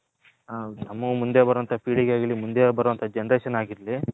ನಮ್ಮಗೆ ಮುಂದೆ ಬರೋವಂಥ ಪೀಳಿಗೆ ಆಗ್ಲಿ ಮುಂದೆ ಬರುವ generation ಆಗಿರಲಿ.